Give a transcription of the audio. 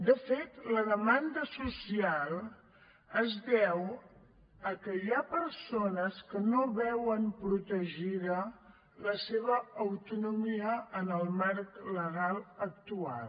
de fet la demanda social es deu a que hi ha persones que no veuen protegida la seva autonomia en el marc legal actual